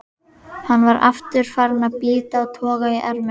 Hann var aftur farinn að bíta og toga í ermina.